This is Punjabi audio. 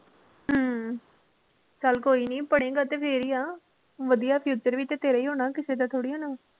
ਹਮ ਚੱਲ ਕੋਈ ਨੀ ਪੜ੍ਹੇਂਗਾ ਤੇ ਫੇਰ ਈ ਆ, ਵਧੀਆ future ਵੀ ਤੇ ਤੇਰਾ ਈ ਹੋਣਾ ਕਿਸੇ ਦਾ ਥੋੜੀ ਹੋਣਾ।